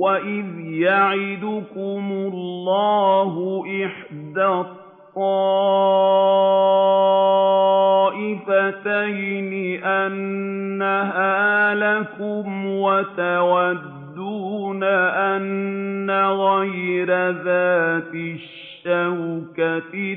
وَإِذْ يَعِدُكُمُ اللَّهُ إِحْدَى الطَّائِفَتَيْنِ أَنَّهَا لَكُمْ وَتَوَدُّونَ أَنَّ غَيْرَ ذَاتِ الشَّوْكَةِ